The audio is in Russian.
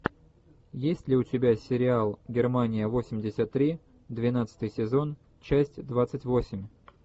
есть ли у тебя сериал германия восемьдесят три двенадцатый сезон часть двадцать восемь